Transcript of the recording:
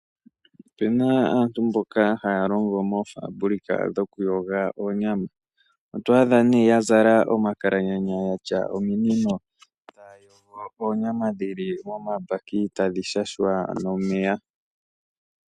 Opena aantu mboka haya longo moofaabulika dhokuyoga oonyama. Oto adha ne yazala omakalaganya yatya ominino taya yogo oonyama dhili momapaki tadhi shashwa nomeya.